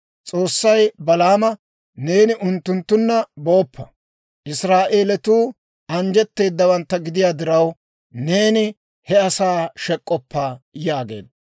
S'oossay Balaama, «Neeni unttunttunna booppa. Israa'eelatuu anjjetteedawantta gidiyaa diraw, neeni he asaa shek'k'oppa» yaageedda.